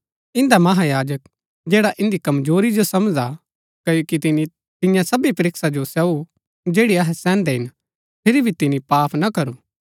इन्दा महायाजक जैडा इन्दी कमजोरी जो समझदा हा क्ओकि तिनी तियां सबी परीक्षा जो सहू जैड़ी अहै सैहन्दै हिन फिरी भी तिनी पाप ना करू